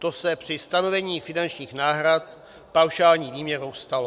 To se při stanovení finančních náhrad paušální výměrou stalo.